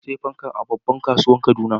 nasiya fankan a babban kasuwan kaduna